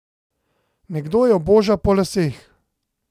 Nekdo jo boža po laseh.